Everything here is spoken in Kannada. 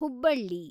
ಹುಬ್ಬಳ್ಳಿ